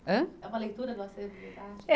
Ã? É uma leitura do acervo do Idarte? É